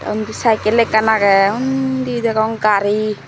ondi saikel ekkan agey undi degong gari.